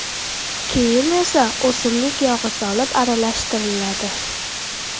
Keyin esa o‘simlik yog‘i solib aralashtiriladi.